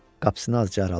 Qapısını azca araladı.